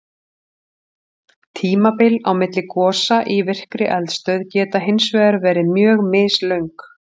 Tímabil á milli gosa í virkri eldstöð geta hins vegar verið mjög mislöng.